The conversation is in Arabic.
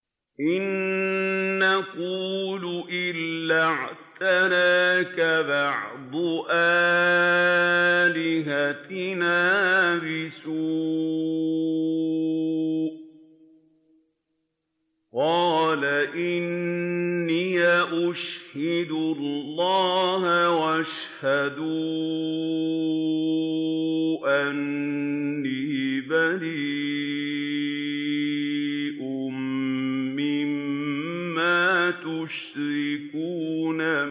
إِن نَّقُولُ إِلَّا اعْتَرَاكَ بَعْضُ آلِهَتِنَا بِسُوءٍ ۗ قَالَ إِنِّي أُشْهِدُ اللَّهَ وَاشْهَدُوا أَنِّي بَرِيءٌ مِّمَّا تُشْرِكُونَ